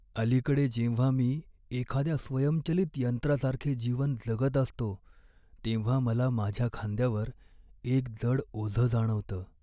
अलीकडे जेव्हा मी एखाद्या स्वयंचलित यंत्रासारखे जीवन जगत असतो, तेव्हा मला माझ्या खांद्यावर एक जड ओझं जाणवतं.